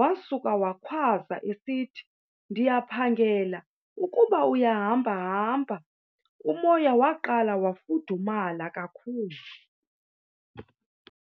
wasuka wakhwaza esithi, ndiyaphangela ukuba uyahamba hamba. Umoya waqala wafudumala kakhulu.